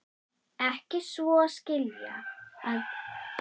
Ekki svo að skilja að ég sé eitthvað pólitískur, það er ég ekki.